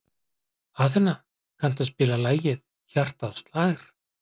Athena, kanntu að spila lagið „Hjartað slær“?